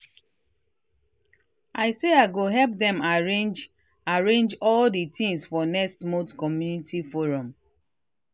i say i go help them arrange arrange all the things for next month community forum